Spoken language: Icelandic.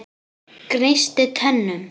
Gnísti tönnum.